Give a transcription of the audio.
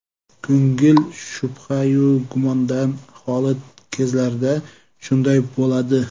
Ko‘ngil shubhayu gumondan xoli kezlarda shunday bo‘ladi.